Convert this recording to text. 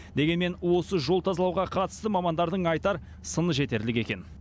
дегенмен осы жол тазалауға қатысты мамандардың айтар сыны жетерлік екен